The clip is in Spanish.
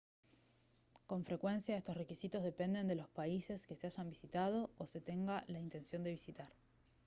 con frecuencia estos requisitos dependen de los países que se hayan visitado o se tenga la intención de visitar